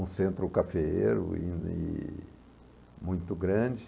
Um centro cafeiro e... muito grande.